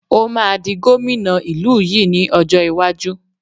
Ó máa di gómìnà ìlú yìí ni ọjọ́ iwájú